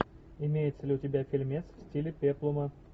имеется ли у тебя фильмец в стиле пеплума